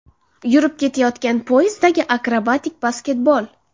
yurib ketayotgan poyezddagi akrobatik basketbol.